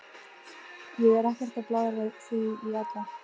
Ég er ekkert að blaðra því í alla.